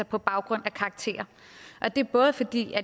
på baggrund af karakterer og det er både fordi